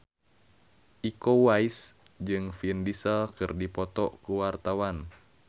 Iko Uwais jeung Vin Diesel keur dipoto ku wartawan